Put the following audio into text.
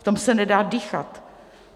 V tom se nedá dýchat.